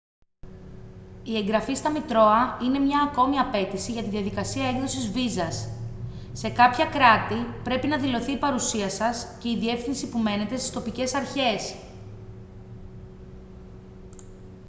η εγγραφή στα μητρώα είναι μια ακόμα απαίτηση για τη διαδικασία έκδοσης βίζας σε κάποια κράτη πρέπει να δηλωθεί η παρουσία σας και η διεύθυνση που μένετε στις τοπικές αρχές